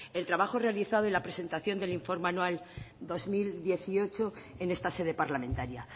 el trabajo realizado y la presentación del informe anual dos mil dieciocho en esta sede parlamentaria